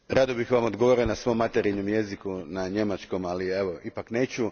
Rado bih Vam odgovorio na svom materinjem jeziku, na njemačkom, ali evo, ipak neću.